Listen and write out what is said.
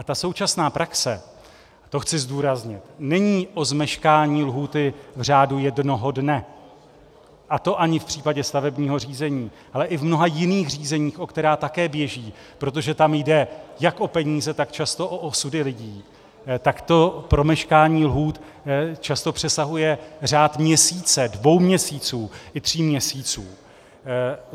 A ta současná praxe, to chci zdůraznit, není o zmeškání lhůty v řádu jednoho dne, a to ani v případě stavebního řízení, ale i v mnoha jiných řízeních, o která také běží, protože tam jde jak o peníze, tak často o osudy lidí, tak to promeškání lhůt často přesahuje řád měsíce, dvou měsíců i tří měsíců.